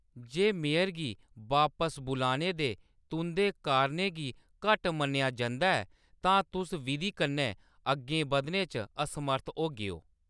जे mayor गी बापस बुलाने दे तुंʼदे कारणें गी घट्ट मन्नेआ जंदा ऐ, तां तुस विधी कन्नै अग्गें बधने च असमर्थ होगेओ।